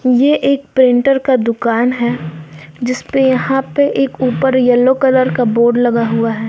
ये एक पेंटर का दुकान है जिसपे यहां पे एक ऊपर येलो कलर का बोर्ड लगा हुआ है।